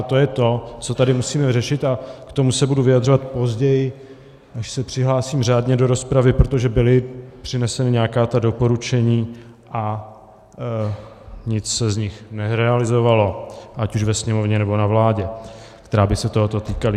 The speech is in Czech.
A to je to, co tady musíme řešit, a k tomu se budu vyjadřovat později, až se přihlásím řádně do rozpravy, protože byla přinesena nějaká ta doporučení a nic se z nich nerealizovalo, ať už ve Sněmovně, nebo na vládě, která by se tohoto týkala.